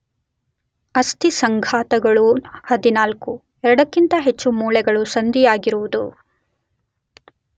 ಅಸ್ಥಿ ಸಂಘಾತಗಳು 14, ಎರಡಕ್ಕಿಂತ ಹೆಚ್ಚು ಮೂಳೆಗಳು ಸಂಧಿಯಾಗಿರುವುದು